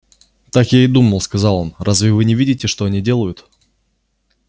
так я и думал сказал он разве вы не видите что они делают